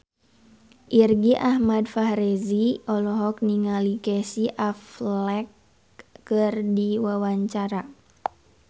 Irgi Ahmad Fahrezi olohok ningali Casey Affleck keur diwawancara